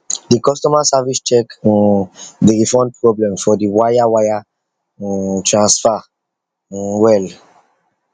the customer service check um the refund problem for the wire wire um transfer um well